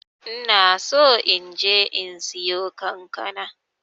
ina so inje in siyo kankana.